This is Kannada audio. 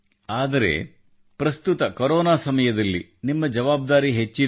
ಆದರೆ ಪ್ರಸ್ತುತ ಕೊರೊನಾ ಸಮಯದಲ್ಲಿ ನಿಮ್ಮ ಜವಾಬ್ದಾರಿ ಹೆಚ್ಚಿದೆ